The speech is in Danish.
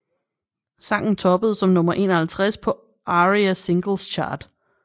Sangen toppede som nummer 51 på ARIA Singles Chart